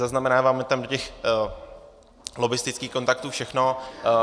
Zaznamenáváme tam do těch lobbistických kontaktů všechno.